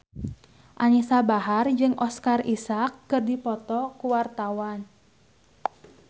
Anisa Bahar jeung Oscar Isaac keur dipoto ku wartawan